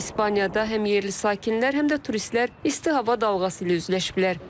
İspaniyada həm yerli sakinlər, həm də turistlər isti hava dalğası ilə üzləşiblər.